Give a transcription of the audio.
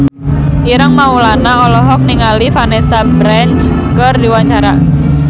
Ireng Maulana olohok ningali Vanessa Branch keur diwawancara